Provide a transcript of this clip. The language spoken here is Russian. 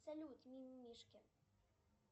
салют мимимишки